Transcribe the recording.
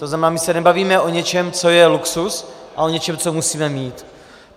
To znamená, my se nebavíme o něčem, co je luxus, ale o něčem, co musíme mít.